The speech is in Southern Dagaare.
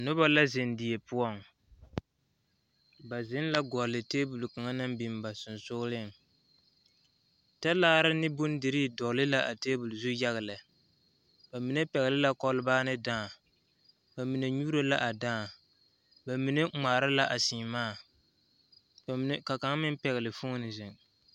Noba la zeŋ die poɔ ba zeŋ la gɔle la tebol naŋ biŋ ba sensɔgreŋ talaare ne bondirii tebol zu yaga lɛ ba mine pɛgle la kolbaa ne dãã ba mi.e nyuuro la a daa ba mine ŋmaara la a seemaa ka kaŋa meŋ pile foone zeŋ.